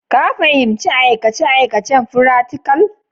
Ka fahimci aikace-aikacen firaktikal?